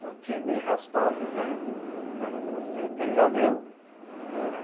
Eu não tinha nem raspado o o o o cabelo, né? É.